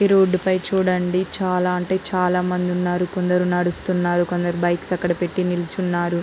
ఈ రోడ్ పై చుడండి చాలా అంటే చాలా మంది ఉన్నారు. కొందరు నడుస్తున్నారు. కొందరు బైక్స్ అక్కడ పెట్టి నించున్నారు.